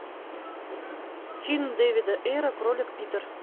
фильм дэвида эйра кролик питер